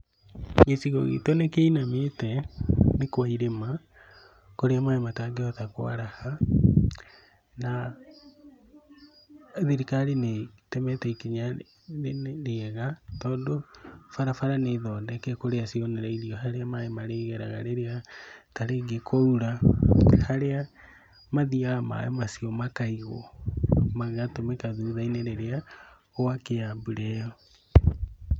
Gĩcigo gitũ nĩ kĩinamĩte, nĩ kwa irĩma, kũrĩa maĩ matangĩhota kwaraha, na thirikari nĩ ĩtũmĩte ikinya rĩega tondũ barabara nĩ thondeke kũrĩa cionereirio harĩa maĩ marĩgeraga rĩrĩa ta rĩngĩ kwaura, harĩa mathiaga maĩ macio makaigwo, magatũmĩka thutha-inĩ rĩria gwakĩa mbura ĩyo.